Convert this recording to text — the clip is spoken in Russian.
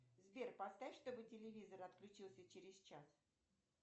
сбер поставь чтобы телевизор отключился через час